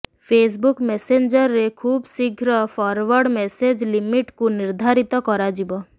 Facebook ମେସେଞ୍ଜରରେ ଖୁବଶୀଘ୍ର forward message ଲିମିଟକୁ ନିର୍ଧାରିତ କରାଯିବ